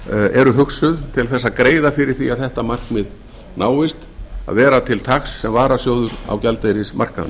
eru hugsuð til að greiða fyrir því að þetta markmið náist að vera til taks sem varasjóður á gjaldeyrismarkaðnum